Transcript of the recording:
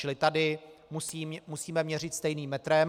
Čili tady musíme měřit stejným metrem.